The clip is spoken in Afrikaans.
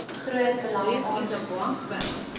groot belang aangesien